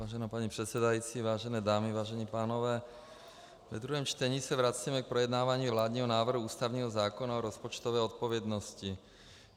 Vážená paní předsedající, vážené dámy, vážení pánové, ve druhém čtení se vracíme k projednávání vládního návrhu ústavního zákona o rozpočtové odpovědnosti.